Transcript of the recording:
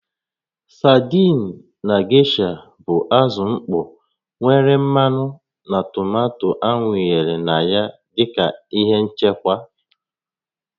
Sadiin na gesha bụ azụ mkpọ nwere mmanụ na tomato awụnyere na ya dị ka ihe nchekwa